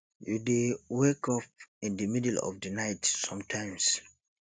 you dey wake up in di middle of di night sometimes